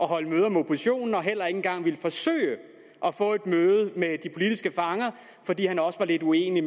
holde møder med oppositionen og heller ikke engang ville forsøge at få et møde med de politiske fanger fordi han også var lidt uenig i